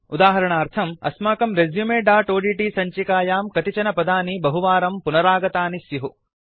उदाहरणार्थम् अस्माकं resumeओड्ट् सञ्चिकायां कतिचन पदानि बहुवारं पुनरागतानि स्युः